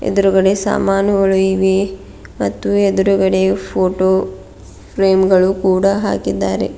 ಎದ್ರುಗಡೆ ಸಾಮಾನುಗಳು ಇವೆ ಮತ್ತು ಎದ್ರುಗಡೆ ಫೋಟೋ ಫ್ರೇಮ್ ಗಳು ಕೂಡ ಹಾಕಿದ್ದಾರೆ.